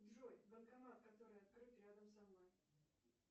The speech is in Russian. джой банкомат который открыт рядом со мной